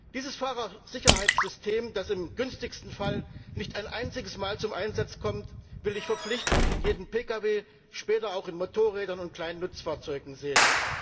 Dieses Fahrersicherheitssystem, das im günstigsten Fall nicht ein einziges Mal zum Einsatz kommt, will ich verpflichtend in jedem Pkw, später auch in Motorrädern und kleinen Nutzfahrzeugen sehen.